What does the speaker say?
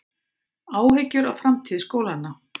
Áhyggjur af framtíð skólanna